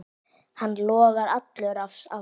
Hann logar allur af ást.